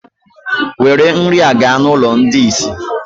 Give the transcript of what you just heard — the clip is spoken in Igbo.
Were nri a gaa n'ụlọ ndị ìsì!